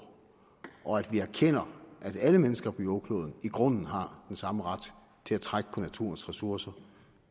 og at vi erkender at alle mennesker på jordkloden i grunden har den samme ret til at trække på naturens ressourcer